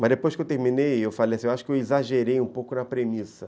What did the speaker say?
Mas depois que eu terminei, eu falei assim, acho que eu exagerei um pouco na premissa.